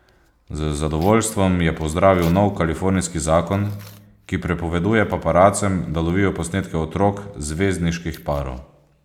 Z zadovoljstvom je pozdravil nov kalifornijski zakon, ki prepoveduje paparacem, da lovijo posnetke otrok zvezdniških parov.